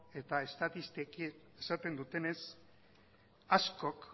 eta estatistikoki esaten dutenez askok